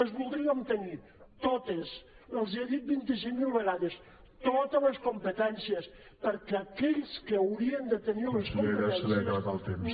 les voldríem tenir totes els hi he dit vint cinc mil vegades totes les competències perquè aquells que haurien de tenir les competències